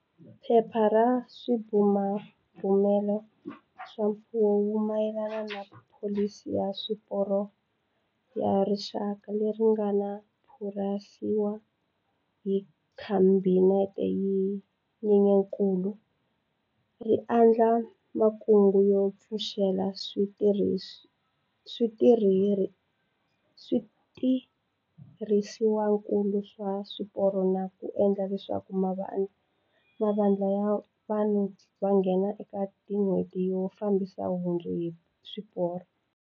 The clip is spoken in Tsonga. Phepha ra Swibumabumelo swa Mfumo hi mayelana na Pholisi ya Swiporo ya Rixaka, leri ri nga pasisiwa hi Khabinete hi Nyenyankulu, ri andlala makungu yo pfuxela switirhisiwakulu swa swiporo na ku endla leswaku mavandla ya vunharhu va nghena ekatin'hweti yo fambisa nhundzu hi swiporo.